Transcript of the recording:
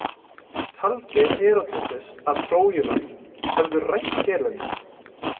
Taldi Heródótos að Trójumenn hefðu rænt Helenu.